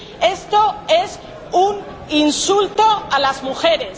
Esto es un insulto a las mujeres.